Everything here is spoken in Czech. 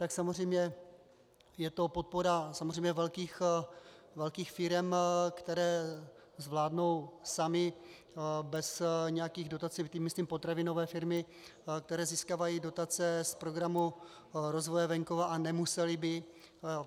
Tak samozřejmě je to podpora samozřejmě velkých firem, které zvládnou samy bez nějakých dotací, tím myslím potravinové firmy, které získávají dotace z Programu rozvoje venkova a nemusely by.